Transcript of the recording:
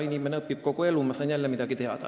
Inimene õpib kogu elu, ma sain jälle midagi teada.